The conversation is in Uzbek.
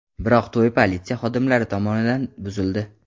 Biroq to‘y politsiya xodimlari tomonidan buzildi.